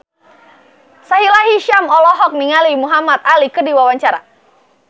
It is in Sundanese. Sahila Hisyam olohok ningali Muhamad Ali keur diwawancara